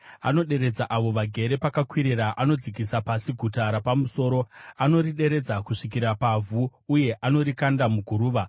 Anoderedza avo vagere pakakwirira, anodzikisa pasi guta rapamusoro; anorideredza kusvikira pavhu uye anorikanda muguruva.